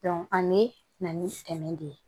an bɛ na ni dɛmɛ de ye